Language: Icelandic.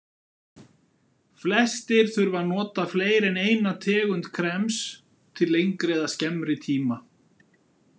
Flestir þurfa að nota fleiri en eina tegund krems til lengri eða skemmri tíma.